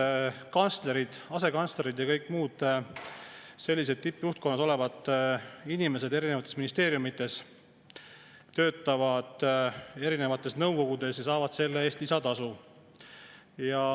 Nimelt, kantslerid, asekantslerid ja kõik muud sellised tippjuhtkonnas olevad inimesed eri ministeeriumides töötavad erinevates nõukogudes ja saavad selle eest lisatasu.